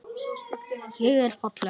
Ég er falleg.